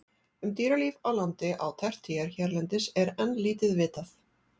Um dýralíf á landi á tertíer hérlendis er enn lítið vitað.